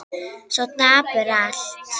Svo dapurt allt.